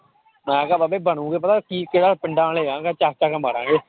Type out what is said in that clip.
ਮੈਂ ਕਿਹਾ ਬਾਬੇ ਬਣੇਗਾ ਪਤਾ ਕੀ ਪਿੰਡਾਂ ਵਾਲੇ ਹਾਂ ਚੁੱਕ ਚੁੱਕ ਕੇ ਮਾਰਾਂਗੇ।